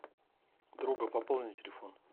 друга пополни телефон